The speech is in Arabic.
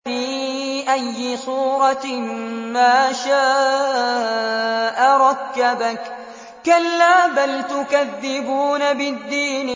فِي أَيِّ صُورَةٍ مَّا شَاءَ رَكَّبَكَ